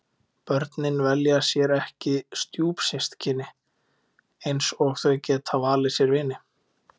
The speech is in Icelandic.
Börnin velja sér ekki stjúpsystkini eins og þau geta valið sér vini.